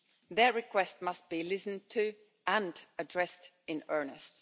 Their requests must be listened to and addressed in earnest.